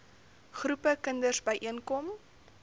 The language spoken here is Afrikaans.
groepe kinders byeenkom